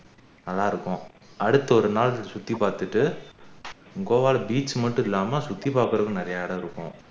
நல்லா இருக்கும் அடுத்து ஒரு நாள் சுற்றி பாத்துட்டு கோவால beach மட்டும் இல்லாம சுத்தி பாக்குறதுக்கு நிறைய இடம் இருக்கும்